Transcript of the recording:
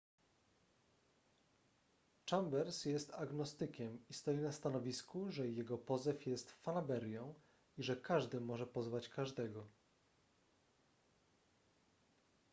chambers jest agnostykiem i stoi na stanowisku że jego pozew jest fanaberią i że każdy może pozwać każdego